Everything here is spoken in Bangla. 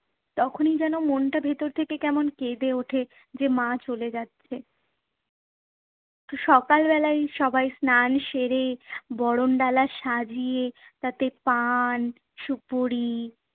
তখনই যেন মনটা ভেতর থেকে কেমন কেঁদে ওঠে, যে মা চলে যাচ্ছে। তো সকাল বেলায় সবাই স্নান সেরে, বরণডালা সাজিয়ে তাতে পান, সুপুরি